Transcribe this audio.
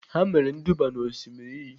Ha mere nduba n'Osimiri iyi.